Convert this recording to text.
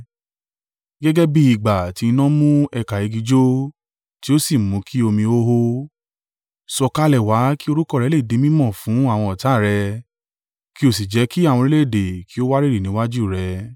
Gẹ́gẹ́ bí ìgbà tí iná mú ẹ̀ka igi jó tí ó sì mú kí omi ó hó, sọ̀kalẹ̀ wá kí orúkọ rẹ le di mí mọ̀ fún àwọn ọ̀tá rẹ kí o sì jẹ́ kí àwọn orílẹ̀-èdè kí ó wárìrì níwájú rẹ!